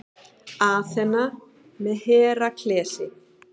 Aþena með Heraklesi.